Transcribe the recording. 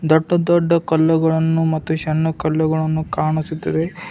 ದೊಡ್ಡ ದೊಡ್ಡ ಕಲ್ಲುಗಳನ್ನು ಮತ್ತು ಶಣ್ಣು ಕಲ್ಲುಗಳನ್ನು ಕಾಣುತ್ತಿದ್ದೇವೆ.